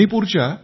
मणीपूरच्या M